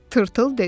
Tırtıl dedi.